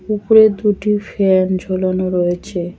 উপরে দুটি ফ্যান ঝোলানো রয়েছে।